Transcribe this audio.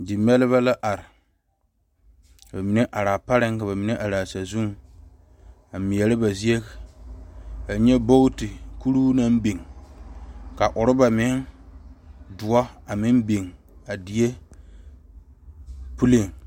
Die mɛrebɛ are ka bamine are a pare ka bamine are a saazuŋ a mɛre ba Zie ka e nyɛ booti kuri naŋ are biŋ ka oroba meŋ doɔ a meŋ biŋ a die puli.